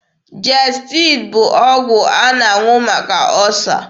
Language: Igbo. Jestid bụ ọgwụ a na-aṅụ maka ọsa.